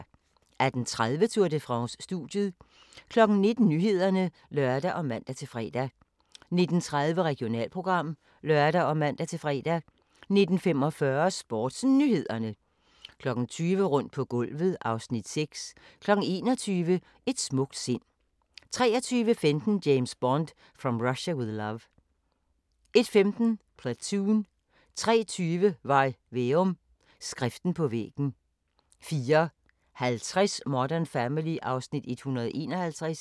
18:30: Tour de France: Studiet 19:00: Nyhederne (lør og man-fre) 19:30: Regionalprogram (lør og man-fre) 19:45: SportsNyhederne 20:00: Rundt på gulvet (Afs. 6) 21:00: Et smukt sind 23:15: James Bond: From Russia with Love 01:15: Platoon 03:20: Varg Veum – Skriften på væggen 04:50: Modern Family (Afs. 151)